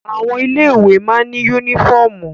Àwọn ilé ìwé má ní yúnífọ̀mù